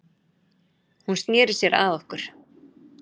Hún sneri sér að okkur